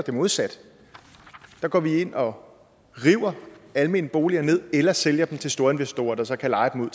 det modsatte der går vi ind og river almene boliger ned eller sælger dem til storinvestorer der så kan leje dem